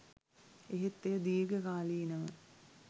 එහෙත් එය දීර්ඝ කාලීනව